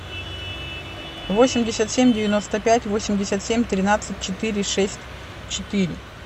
восемьдесят семь девяносто пять восемьдесят семь тринадцать четыре шесть четыре